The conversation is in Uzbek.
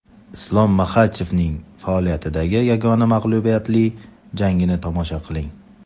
Islom Maxachevning faoliyatidagi yagona mag‘lubiyatli jangini tomosha qiling!